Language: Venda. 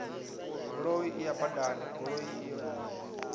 goloi iyo badani goloi iyo